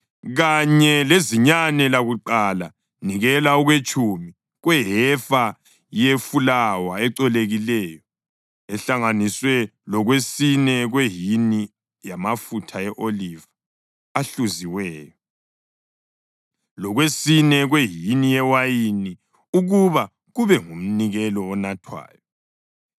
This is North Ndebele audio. Kanye lezinyane lakuqala nikela okwetshumi kwehefa yefulawa ecolekileyo ehlanganiswe lokwesine kwehini yamafutha e-oliva ahluziweyo, lokwesine kwehini yewayini ukuba kube ngumnikelo onathwayo.